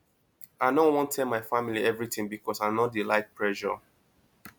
i no wan tell my family everytin because i no dey like pressure